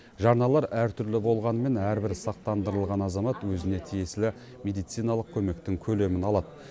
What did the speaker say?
жарналар әртүрлі болғанымен әрбір сақтандырылған азамат өзіне тиесілі медициналық көмектің көлемін алады